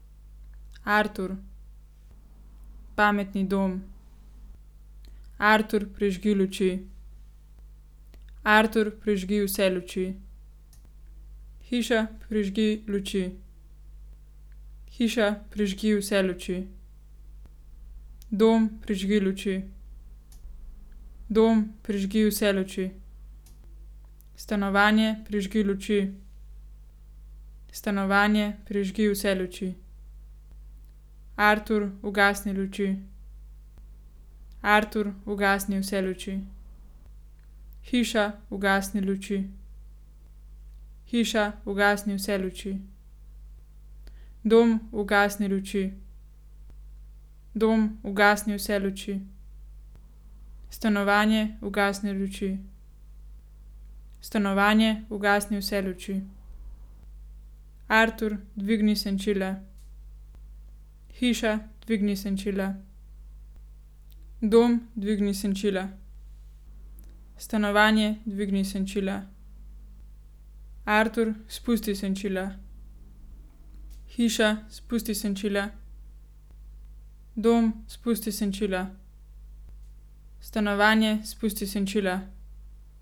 Artur. Pametni dom. Artur, prižgi luči. Artur, prižgi vse luči. Hiša, prižgi luči. Hiša, prižgi vse luči. Dom, prižgi luči. Dom, prižgi vse luči. Stanovanje, prižgi luči. Stanovanje, prižgi vse luči. Artur, ugasni luči. Artur, ugasni vse luči. Hiša, ugasni luči. Hiša, ugasni vse luči. Dom, ugasni luči. Dom, ugasni vse luči. Stanovanje, ugasni luči. Stanovanje, ugasni vse luči. Artur, dvigni senčila. Hiša, dvigni senčila. Dom, dvigni senčila. Stanovanje, dvigni senčila. Artur, spusti senčila. Hiša, spusti senčila. Dom, spusti senčila. Stanovanje, spusti senčila.